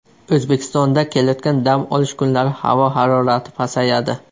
O‘zbekistonda kelayotgan dam olish kunlari havo harorati pasayadi.